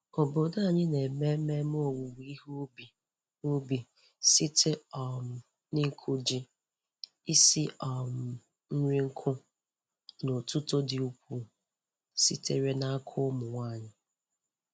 Obodo anyị na-eme ememe owuwe ihe ubi ubi site um n'ịkụ ji, isi um nri nkụ, na otuto dị ukwuu sitere n'aka ụmụ nwanyị.